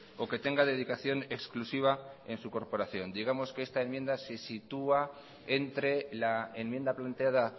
o que tenga dedicación exclusiva en su corporación digamos que esta enmienda se sitúa entre la enmienda planteada